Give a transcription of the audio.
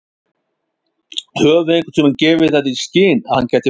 Höfum við einhverntímann gefið það í skyn að hann gæti farið?